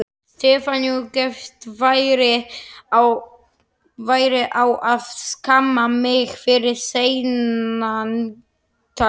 Stefaníu gefst færi á að skamma mig fyrir seinaganginn.